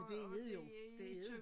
Det er det jo det er det